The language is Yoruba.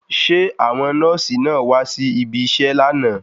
Ṣé àwọn nọ́ọ̀sì náà wá si ibiṣẹ́ lánàá?